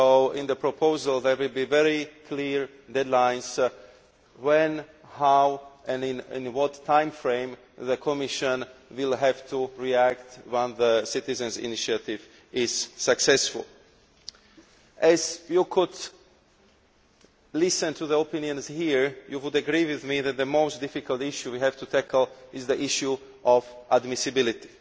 In the proposal, there will be very clear deadlines when, how and in what timeframe the Commission will have to react when the citizens' initiative is successful. As you have listened to the opinions here, you will agree with me that the most difficult issue we have to tackle is the issue of admissibility